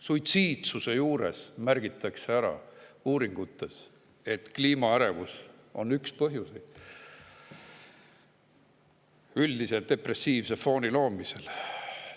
Suitsiidsuse uuringutes märgitakse, et kliimaärevus on üks põhjuseid üldise depressiivse fooni loomisel.